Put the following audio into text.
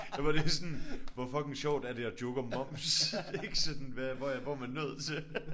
Der var lige sådan hvor fucking sjovt er det at joke om moms ikke sådan hvad hvor jeg hvor er man nået til